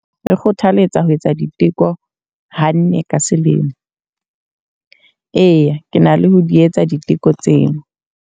Re kgothaletsa ho etsa diteko ha nne ka selemo. Eya, ke na le ho di etsa diteko tseo.